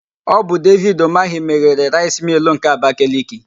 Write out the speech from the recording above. Ọ bụ Devid Ụmahị meghere Raịs Mịịl nke Abakaliki,